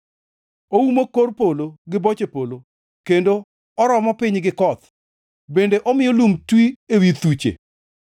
Oumo kor polo gi boche polo, kendo oromo piny gi koth, bende omiyo lum twi ewi thuche.